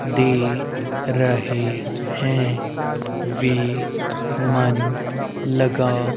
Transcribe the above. दे रहे हैं वे मन लगा--